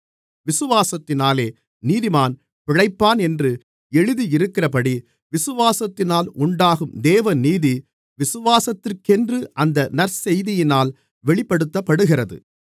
விசுவாசத்தினாலே நீதிமான் பிழைப்பான் என்று எழுதியிருக்கிறபடி விசுவாசத்தினால் உண்டாகும் தேவநீதி விசுவாசத்திற்கென்று அந்த நற்செய்தியினால் வெளிப்படுத்தப்படுகிறது